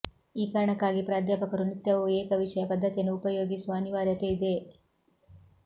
ಈ ಕಾರಣಕ್ಕಾಗಿ ಪ್ರಾಧ್ಯಾಪಕರು ನಿತ್ಯವೂ ಏಕ ವಿಷಯ ಪದ್ಧತಿಯನ್ನು ಉಪಯೋಗಿಸುವ ಅನಿವಾರ್ಯತೆ ಇದೆ